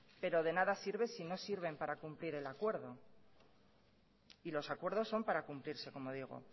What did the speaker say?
pero de nada sirve si no sirven para cumplir el acuerdo y los acuerdos son para cumplirse como digo